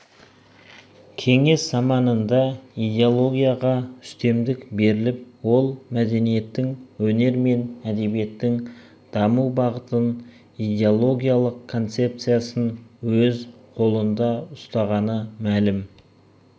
кеңес заманында идеологияға үстемдік беріліп ол мәдениеттің өнер мен әдебиеттің даму бағытын идеологиялық концепциясын өз қолында ұстағаны мәлім